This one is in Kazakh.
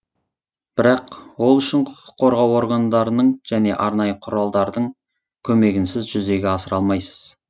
бірақ ол үшін құқық қорғау органдарының және арнайы құралдардың көмегінсіз жүзеге асыра алмайсыз